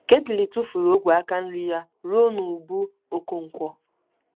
Ketly tufuru ogwe aka nri ya ruo n'ubu nkwonkwo.